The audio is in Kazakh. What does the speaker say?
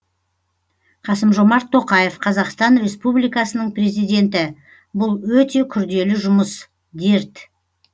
қасым жомарт тоқаев қазақстан республикасының президенті бұл өте күрделі жұмыс дерт